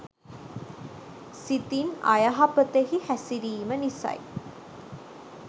සිතින් අයහපතෙහි හැසිරීම නිසයි.